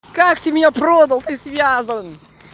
как ты меня продал ты связан